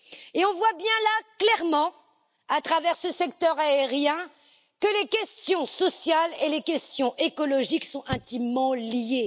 Nous voyons clairement, à travers ce secteur aérien, que les questions sociales et les questions écologiques sont intimement liées.